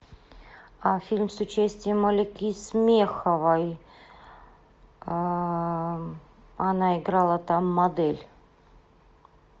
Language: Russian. фильм с участием алики смеховой она играла там модель